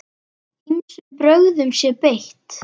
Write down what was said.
Ýmsum brögðum sé beitt.